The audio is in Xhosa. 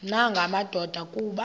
nanga madoda kuba